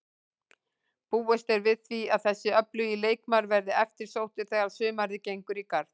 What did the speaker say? Búist er við því að þessi öflugi leikmaður verði eftirsóttur þegar sumarið gengur í garð.